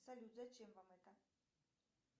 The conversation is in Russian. салют зачем вам это